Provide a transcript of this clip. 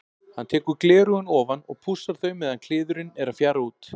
Hann tekur gleraugun ofan og pússar þau meðan kliðurinn er að fjara út.